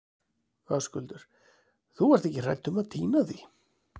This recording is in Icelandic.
Höskuldur: Þú ert ekki hrædd um að týna því?